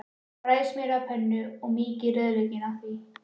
Bræðið smjör á pönnu og mýkið rauðlaukinn í því.